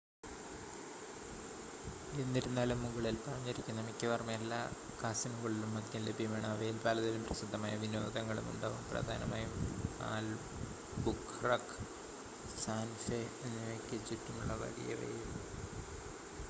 എന്നിരുന്നാലും മുകളിൽ പറഞ്ഞിരിക്കുന്ന മിക്കവാറും എല്ലാ കാസിനോകളിലും മദ്യം ലഭ്യമാണ് അവയിൽ പലതിലും പ്രസിദ്ധമായ വിനോദങ്ങളും ഉണ്ടാവും പ്രധാനമായും ആൽബുഖുർഖ് സാന്റ ഫെ എന്നിവയ്ക്ക് ചുറ്റുമുള്ള വലിയവയിൽ